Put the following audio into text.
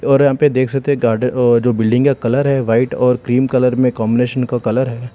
और यहां पे देख सकते हैं गार्डन और जो बिल्डिंग का कलर है व्हाईट और क्रीम कलर में कॉम्बिनेशन का कलर है।